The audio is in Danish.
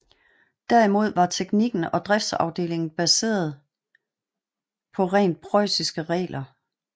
Derimod var teknikken og driftsafviklingen baseret rent preussiske regler